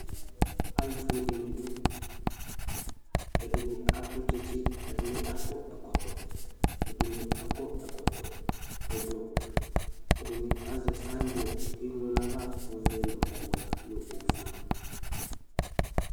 Alʋfʋe dɩnɩ dʋ ɛdɩnɩ atʋ tsɩtsɩ ɛdɩnɩ akɔ ɛkɔtɔ Edɩnɩ akɔ ɛkɔtɔ ɛblɔ ɛdɩnɩ azɛ signboard keŋlo nayava ɔvɛ nʋ ɔwɛ nʋ ofʋe